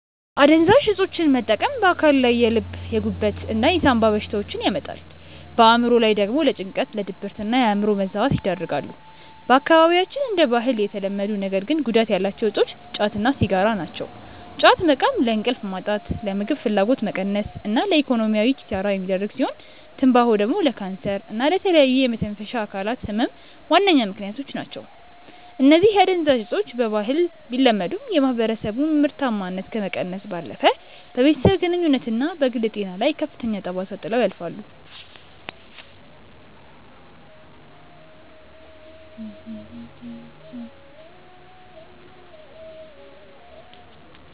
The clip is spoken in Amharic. አደንዛዥ እፆችን መጠቀም በአካል ላይ የልብ፣ የጉበት እና የሳምባ በሽታዎችን ያመጣሉ፣ በአእምሮ ላይ ደግሞ ለጭንቀት፣ ለድብርትና የአእምሮ መዛባት ይዳርጋሉ። በአካባቢያችን እንደ ባህል የተለመዱ ነገር ግን ጉዳት ያላቸው እፆች ጫት እና ሲጋራ ናቸው። ጫት መቃም ለእንቅልፍ ማጣት፣ ለምግብ ፍላጎት መቀነስ እና ለኢኮኖሚያዊ ኪሳራ የሚዳርግ ሲሆን፤ ትንባሆ ደግሞ ለካንሰር እና ለተለያዩ የመተንፈሻ አካላት ህመም ዋነኛ ምከንያት ነው። እነዚህ አደንዛዥ እፆች በባህል ቢለመዱም፣ የማህበረሰቡን ምርታማነት ከመቀነስ ባለፈ በቤተሰብ ግንኙነትና በግል ጤና ላይ ከፍተኛ ጠባሳ ጥለው ያልፋሉ።